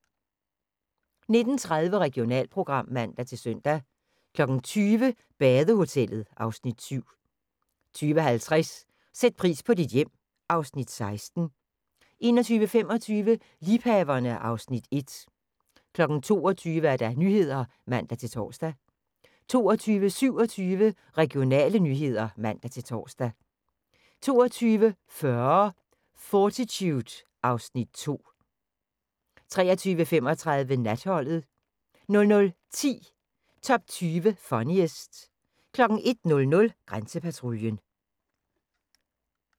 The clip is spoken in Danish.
19:30: Regionalprogram (man-søn) 20:00: Badehotellet (Afs. 7) 20:50: Sæt pris på dit hjem (Afs. 16) 21:25: Liebhaverne (Afs. 1) 22:00: Nyhederne (man-tor) 22:27: Regionale nyheder (man-tor) 22:40: Fortitude (Afs. 2) 23:35: Natholdet 00:10: Top 20 Funniest 01:00: Grænsepatruljen